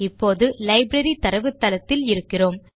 இப்போது லைப்ரரி தரவுத்தளத்தில் இருக்கிறோம்